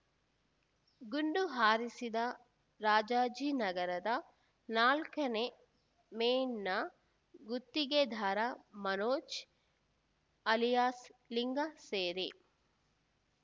ಗುಂಡು ಹಾರಿಸಿದ ರಾಜಾಜಿನಗರದ ನಾಲ್ಕನೇ ಮೇನ್‌ನ ಗುತ್ತಿಗೆದಾರ ಮನೋಜ್ ಅಲಿಯಾಸ್ ಲಿಂಗ ಸೇರಿ